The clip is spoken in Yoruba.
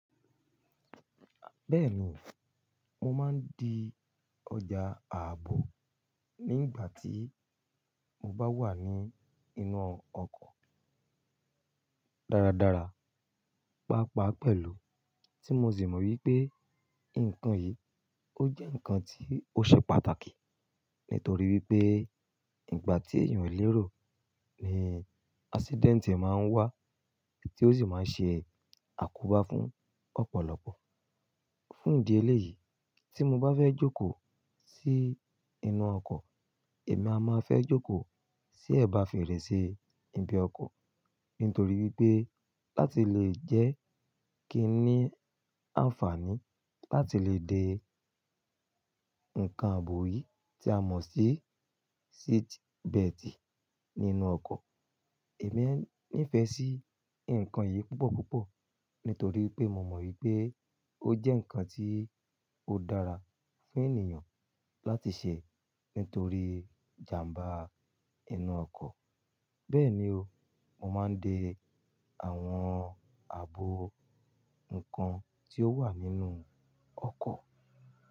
Bẹ́ẹ̀ni, mo máa ń di ọjà ààbò nígbà tí mo bá wà ní inú ọkọ̀ dáradára. Pápá pẹ̀lú tí mo sì mọ̀ wípé nǹkan yìí ó jẹ́ ǹkan tí ó ṣe pàtàkì. Nítorí wípé ìgbà tí èèyàn ń lérò ni accident máa ń wá tí ó sì máa ń ṣe àkóbá fún ọ̀pọ̀lọpọ̀. Fún ìdí eléyìí tí mo bá fẹ́ jókòó sí inú ọkọ̀, èmi a máa fẹ́ jókòó sí ẹ̀bá fèrèsé ibi ọkọ̀. Nítorí wípé láti lè jẹ́ kí i ní àǹfààní láti lè dé ǹkan ààbò yìí tí a mọ̀ sí seat belt nínú ọkọ̀. Èmi nífẹ̀ẹ́ sí nǹkan yìí púpọ̀púpọ̀ nítorí wípé mo mọ̀ wípé ó jẹ́ ǹkan tí ó dára fún ènìyàn láti ṣe nítorí ìjàmbá inú ọkọ̀. Bẹ́ẹ̀ni o, mo máa ń de àwọn ààbò ǹkan tí ó wà nínú ọkọ̀.